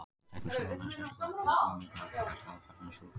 Veiðitækni súlunnar er sérstaklega tilkomumikil og kallast aðfarirnar súlukast.